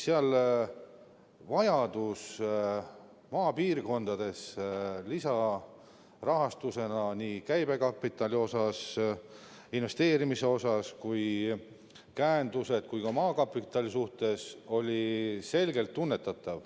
Seal oli vajadus maapiirkondadesse antava lisarahastuse järele selgelt tunnetatav, seda nii käibekapitali, investeerimise, käenduse kui ka maakapitali mõttes.